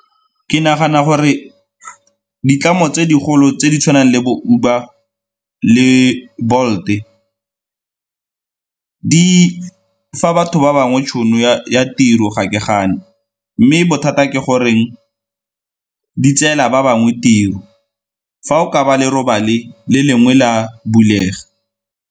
Ke nagana gore ditlamo tse digolo tse di tshwanang le bo Uber le Bolt-e, di fa batho ba bangwe tšhono ya tiro ga ke gana mme bothata ke gore di tseela ba bangwe tiro, fa o ka ba le lengwe la bulega.